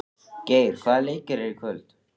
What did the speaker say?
Geir, hvaða leikir eru í kvöld?